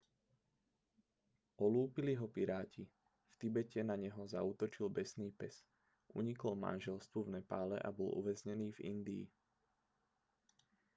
olúpili ho piráti v tibete na neho zaútočil besný pes unikol manželstvu v nepále a bol uväznený v indii